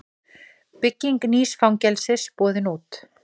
Bygging nýs fangelsis boðin út